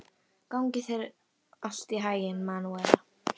Gangi þér allt í haginn, Manúela.